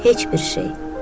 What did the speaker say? Heç bir şey.